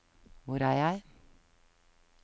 hvor er jeg